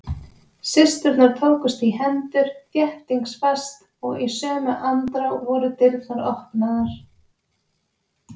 Systurnar tókust í hendur, þéttingsfast, og í sömu andrá voru dyrnar opnaðar.